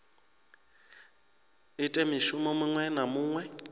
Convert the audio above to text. ite mushumo muṅwe na muṅwe